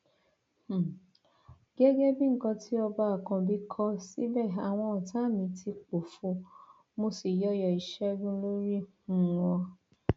um gẹgẹ bí nǹkan tí ọba àkànbí kọ síbẹ àwọn ọtá mi ti pòfo mo sì yọyọ ìṣègùn lórí um wọn